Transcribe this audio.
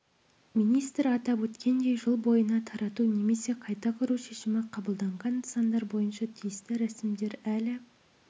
министр атап өткендей жыл бойына тарату немесе қайта құру шешімі қабылданған нысандар бойынша тиісті рәсімдер әлі